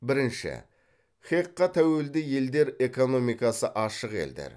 бірінші хэқ ға тәуелді елдер экономикасы ашық елдер